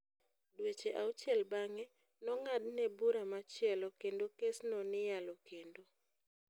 Dweche auchiel bang'e, nong'adne bura machielo kendo kes no ni yalo kendo.